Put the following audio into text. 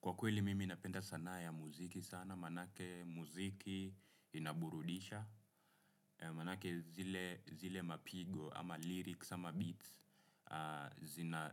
Kwa kweli mimi napenda sanaa ya muziki sana, manake muziki inaburudisha, manake zile mapigo ama lyrics ama beats